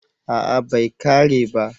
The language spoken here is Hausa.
A'a bai kare ba